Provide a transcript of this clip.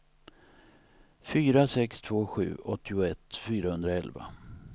fyra sex två sju åttioett fyrahundraelva